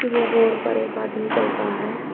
यह रोड पर एक आदमी चल रहा है।